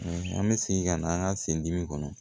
An bɛ segin ka na an ka sen dimi kɔnɔ